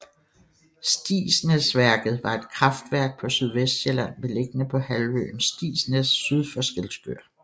Stigsnæsværket var et kraftværk på Sydvestsjælland beliggende på halvøen Stigsnæs syd for Skælskør